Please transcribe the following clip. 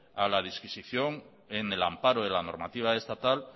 a la disquisición en el amparo de la normativa estatal